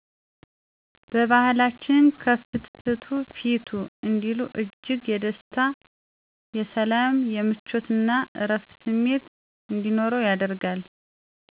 በባህላችን "ከፍትፍቱ ፊቱ " እንዲሉ እጅግ የደስታ :የሰላም :የምቾት እና እረፍት ስሜት እንዲኖር ያደርጋል።